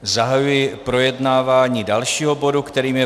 Zahajuji projednávání dalšího bodu, kterým je